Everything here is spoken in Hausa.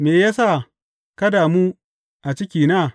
Me ya sa ka damu a cikina?